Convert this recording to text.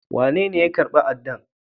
Wanene ya karba Adan?